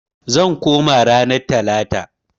Zan koma ranar talata.